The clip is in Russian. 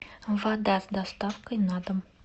вода с доставкой на дом